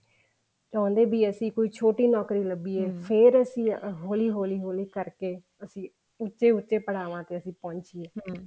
ਚਾਹੁੰਦੇ ਵੀ ਅਸੀਂ ਛੋਟੀ ਨੋਕਰੀ ਲੱਭੀਏ ਫ਼ੇਰ ਅਸੀਂ ਹੋਲੀ ਹੋਲੀ ਕਰਕੇ ਅਸੀਂ ਉੱਚੇ ਉੱਚੇ ਪੜਾਵਾਂ ਤੇ ਅਸੀਂ ਪਹੁੰਚੀਏ